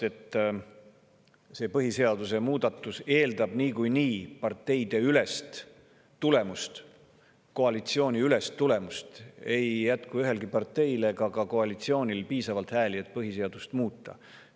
See põhiseaduse muudatus eeldab niikuinii parteideülest tulemust, koalitsiooniülest tulemust, sest ei jätku ühelgi parteil ega ka koalitsioonil piisavalt hääli, et põhiseadust muuta.